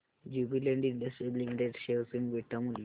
Jubilant industries limited share चे beta मूल्य